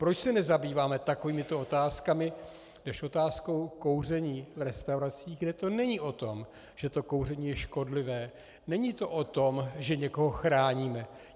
Proč se nezabýváme takovýmito otázkami než otázkou kouření v restauracích, kde to není o tom, že to kouření je škodlivé, není to o tom, že někoho chráníme?